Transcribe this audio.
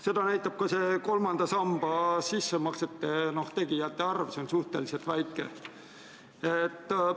Seda näitab ka kolmandasse sambasse sissemaksete tegijate arv: see on suhteliselt väike.